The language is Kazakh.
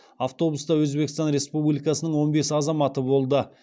автобуста өзбекстан республикасының он бес азаматы болды